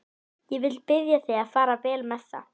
Ég vil biðja þig að fara vel með það.